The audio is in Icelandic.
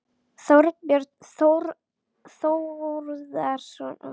Þorbjörn Þórðarson: Hann getur lagt meira af mörkum?